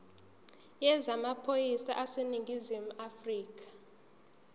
yezamaphoyisa aseningizimu afrika